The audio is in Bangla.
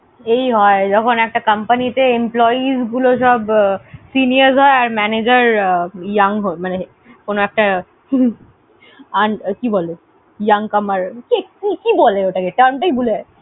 এই হয় যখন একটা comapny তে employees গুলো সব seniors হয় আর manager young হয় মানে কোনো একটা কি বলে young comer কি বলে ওটাকে? term টাই ভুলে যাচ্ছি।